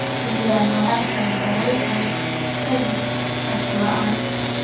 Waxaa jira noocyo kala duwan oo kaadi-ceshad la'aan.